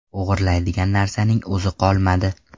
O‘g‘irlaydigan narsaning o‘zi qolmadi.